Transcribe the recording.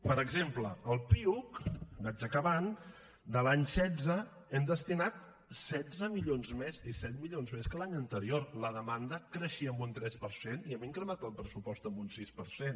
per exemple al piuc vaig acabant de l’any setze hem destinat setze milions més disset milions més que l’any anterior la demanada creixia en un tres per cent i hem incrementat el pressupost en un sis per cent